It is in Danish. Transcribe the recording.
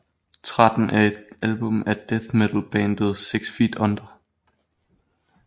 13 er et album af death metal bandet Six Feet Under